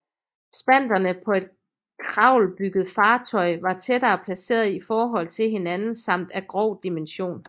Spanterne på et kravelbygget fartøy var tættere placerede i forhold til hinanden samt af grov dimension